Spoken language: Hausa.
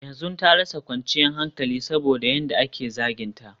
yanzu ta rasa kwanciyar hankali saboda yadda ake zaginta